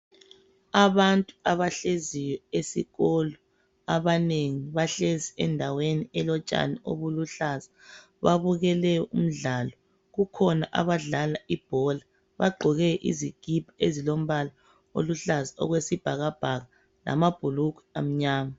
Abantu abahleziyo esikolo abanengi bahlezi endaweni elotshani obuluhlaza , babukele umdlalo , kukhona abadlala ibhola bagqoke izikipa ezilombala oluhlaza okwesibhakabhaka lamabhulugwe amnyama